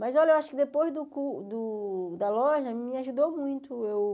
Mas, olha, eu acho que depois do cur o da loja me ajudou muito.